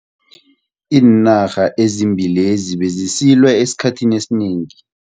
Iinarha ezimbili lezi bezisilwa esikhathini esinengi.